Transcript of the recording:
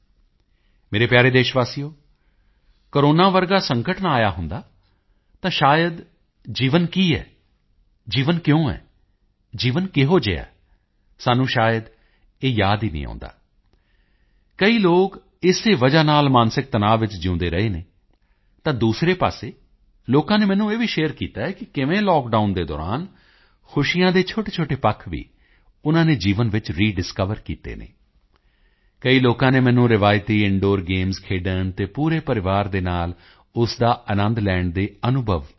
ਮੇਰੇ ਪਿਆਰੇ ਦੇਸ਼ਵਾਸੀਓ ਕੋਰੋਨਾ ਵਰਗਾ ਸੰਕਟ ਨਾ ਆਇਆ ਹੁੰਦਾ ਤਾਂ ਸ਼ਾਇਦ ਜੀਵਨ ਕੀ ਹੈ ਜੀਵਨ ਕਿਉਂ ਹੈ ਜੀਵਨ ਕਿਹੋ ਜਿਹਾ ਹੈ ਸਾਨੂੰ ਸ਼ਾਇਦ ਇਹ ਯਾਦ ਹੀ ਨਹੀਂ ਆਉਂਦਾ ਕਈ ਲੋਕ ਇਸੇ ਵਜ੍ਹਾ ਨਾਲ ਮਾਨਸਿਕ ਤਣਾਅ ਵਿੱਚ ਜਿਊਂਦੇ ਰਹੇ ਹਨ ਤਾਂ ਦੂਸਰੇ ਪਾਸੇ ਲੋਕਾਂ ਨੇ ਮੈਨੂੰ ਇਹ ਵੀ ਸ਼ੇਅਰ ਕੀਤਾ ਹੈ ਕਿ ਕਿਵੇਂ ਲਾਕਡਾਊਨ ਦੇ ਦੌਰਾਨ ਖੁਸ਼ੀਆਂ ਦੇ ਛੋਟੇਛੋਟੇ ਪੱਖ ਵੀਉਨ੍ਹਾਂ ਨੇ ਜੀਵਨ ਵਿੱਚ ਰੈਡਿਸਕਵਰ ਕੀਤੇ ਹਨ ਕਈ ਲੋਕਾਂ ਨੇ ਮੈਨੂੰ ਰਵਾਇਤੀ ਇੰਦੂਰ ਗੇਮਜ਼ ਖੇਡਣ ਅਤੇ ਪੂਰੇ ਪਰਿਵਾਰ ਦੇ ਨਾਲ ਉਸ ਦਾ ਆਨੰਦ ਲੈਣ ਦੇ ਅਨੁਭਵ ਭੇਜੇ ਹਨ